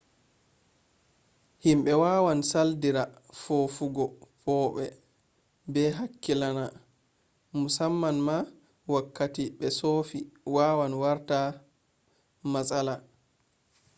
himbe wawan saldira fofugo bobe be hakkilina musanman mah wakkati be sofi, wawan warta mastyala